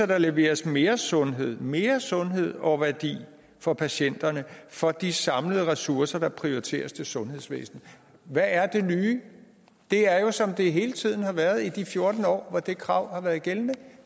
der leveres mere sundhed mere sundhed og værdi for patienterne for de samlede ressourcer der prioriteres til sundhedsvæsenet hvad er det nye det er jo som det hele tiden har været i de fjorten år hvor det krav har været gældende